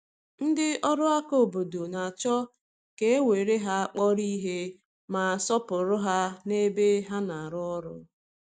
Ndị ọrụ aka obodo na-achọ ka e were ha kpọrọ ihe, ma sọọpụrụ ha n’ebe ha na-arụ ọrụ.